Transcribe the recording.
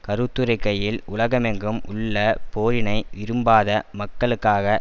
கருத்துரைக்கையில் உலகமெங்கும் உள்ள போரினை விரும்பாத மக்களுக்காக